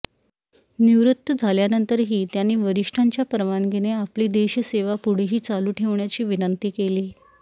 निवृत्त झाल्यानंतरही त्यांनी वरिष्ठांच्या परवानगीने आपली देशसेवा पुढेही चालू ठेवण्याची विनंती केली